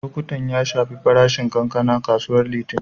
Lokuttan ya shafi farashin kankana a kasuwar Litinin.